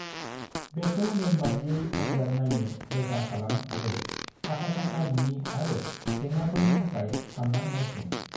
बेखौ नेमबादियै आनजाद नायनो रोखा खालाम आरो आखा-फाखा नङि आरो जेंनाफोरफोरनि थाखाय सानना नायफिन ।